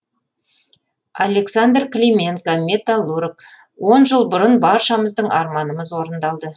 александр клименко металлург жыл бұрын баршамыздың арманымыз орындалды